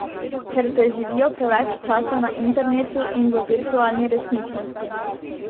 Ker preživijo preveč časa na internetu in v virtualni resničnosti.